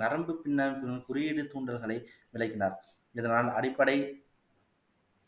நரம்பு பின்னர் குறியீடு தூண்டல்களை விளக்கினார் இதனால் அடிப்படை